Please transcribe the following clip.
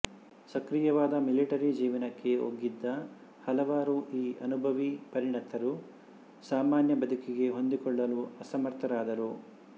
ಸಕ್ರಿಯವಾದ military ಜೀವನಕ್ಕೆ ಒಗ್ಗಿದ ಹಲವಾರು ಈ ಅನುಭವಿ ಪರಿಣತರು ಸಾಮಾನ್ಯ ಬದುಕಿಗೆ ಹೊಂದಿಕೊಳ್ಳಲು ಅಸಮರ್ಥರಾದರು